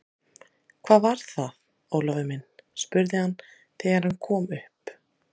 Hvað var það, Ólafur minn? spurði hann þegar hann kom upp.